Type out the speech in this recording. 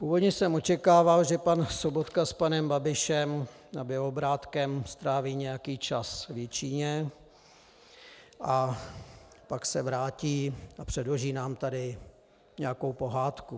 Původně jsem očekával, že pan Sobotka s panem Babišem a Bělobrádkem stráví nějaký čas v Jičíně a pak se vrátí a předloží nám tady nějakou pohádku.